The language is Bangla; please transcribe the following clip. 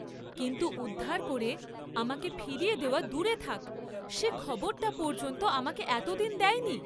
কিন্তু উদ্ধার করে আমাকে ফিরিয়ে দেওয়া দূরে থাক্‌ সে খবরটা পর্য্যন্ত আমাকে এত দিন দেয় নি।